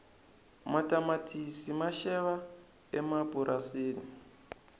matamatisi ma xaveka emapurasini